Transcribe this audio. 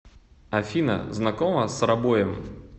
афина знакома с робоем